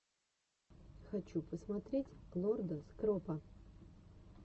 хочу посмотреть лорда скропа